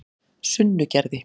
Sunnugerði